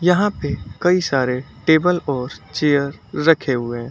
यहां पे कई सारे टेबल और चेयर रखे हुए हैं।